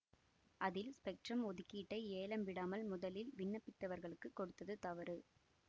அதில் ஸ்பெக்ட்ரம் ஒதுக்கீட்டை ஏலம் விடாமல் முதலில் விண்ணப்பித்தவர்களுக்கு கொடுத்தது தவறு